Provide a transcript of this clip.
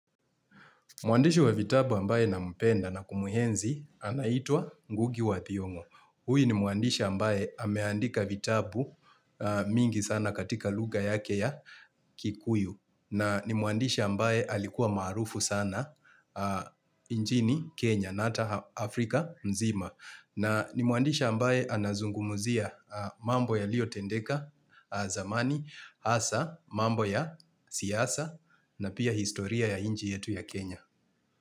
Muandishi wa vitabu ambaye nampenda na kumuhenzi anaitwa Ngugi wa Thiongo. Huyu ni muandisha ambaye ameandika vitabu mingi sana katika lugha yake ya kikuyu. Na ni muandisha ambaye alikuwa maarufu sana injini Kenya na hata Afri Afrika mzima. Na ni muandishi ambaye anazungumuzia mambo yalio tendeka zamani, hasa, mambo ya siasa na pia historia ya inji yetu ya Kenya.